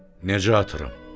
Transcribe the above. “Necə atıram?”